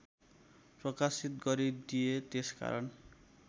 प्रकाशित गरिदिए त्यसकारण